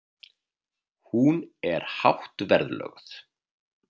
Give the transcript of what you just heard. Hún er hátt verðlögð.